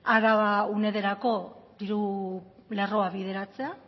araba unederako diru lerroa bideratzea